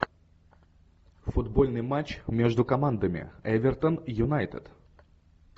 футбольный матч между командами эвертон юнайтед